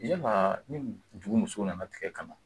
Yala ni dugu muso nana tigɛ ka na